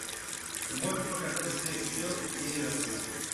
можешь показать встречу челси и эвертона